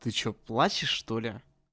ты что плачешь что ли